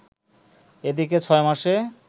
এদিকে ছয় মাসে